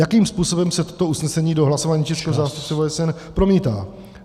Jakým způsobem se toto usnesení do hlasování českého zástupce v OSN promítá?